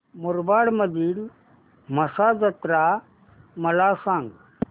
मुरबाड मधील म्हसा जत्रा मला सांग